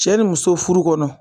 Cɛ ni muso furu kɔnɔ